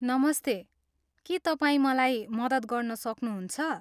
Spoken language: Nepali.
नमस्ते, के तपाईँ मलाई मद्दत गर्न सक्नुहुन्छ?